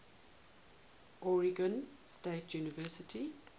oregon state university